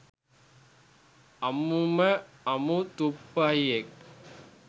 අමුම අමු ‘තුප්පහියෙක්’.